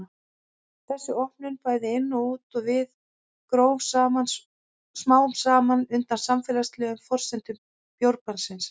Þessi opnun, bæði inn og út á við, gróf smám saman undan samfélagslegum forsendum bjórbannsins.